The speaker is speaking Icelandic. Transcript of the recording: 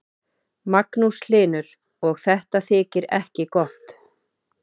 Magnús Hlynur: Og þetta þykir ekki gott?